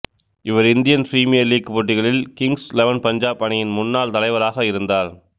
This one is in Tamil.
இவர் இந்தியன் பிரீமியர் லீக் போட்டிகளில் கிங்சு இலெவன் பஞ்சாபு அணியின் முன்னாள் தலைவராக இருந்தார்